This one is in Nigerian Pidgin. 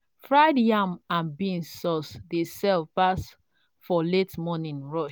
fried yam and beans sauce dey sell pass for late morning rush.